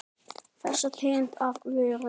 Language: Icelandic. Þessa tegund af vöru.